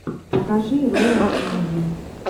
покажи роад муви